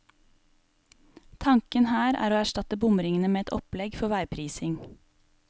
Tanken her er å erstatte bomringene med et opplegg for veiprising.